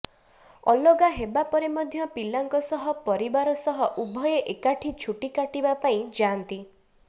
ଅଲଗା ହେବା ପରେ ମଧ୍ୟ ପିଲାଙ୍କ ସହ ପରିବାର ସହ ଉଭୟେ ଏକାଠି ଛୁଟି କାଟିବା ପାଇଁ ଯାଆନ୍ତି